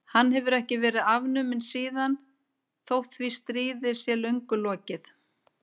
Hann hefur ekki verið afnuminn síðan þótt því stríði sé löngu lokið.